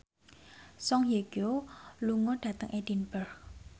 Song Hye Kyo lunga dhateng Edinburgh